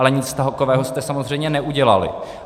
Ale nic takového jste samozřejmě neudělali.